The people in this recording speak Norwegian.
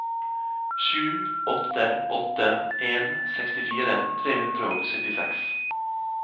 sju åtte åtte en sekstifire tre hundre og syttiseks